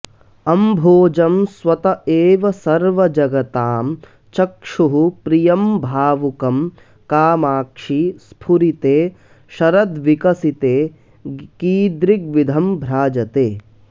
अम्भोजं स्वत एव सर्वजगतां चक्षुःप्रियम्भावुकं कामाक्षि स्फुरिते शरद्विकसिते कीदृग्विधं भ्राजते